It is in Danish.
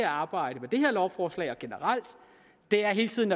arbejdet med det her lovforslag og generelt er hele tiden